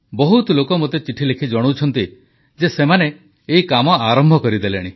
ବହୁତ ଲୋକ ମୋତେ ଚିଠିଲେଖି ଜଣାଉଛନ୍ତି ଯେ ସେମାନେ ଏହି କାମ ଆରମ୍ଭ କରିଦେଲେଣି